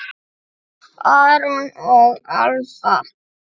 Aron og Alba.